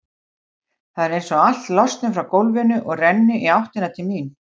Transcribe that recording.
Það er einsog allt losni frá gólfinu og renni í áttina til mín.